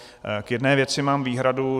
K jedné věci mám výhradu.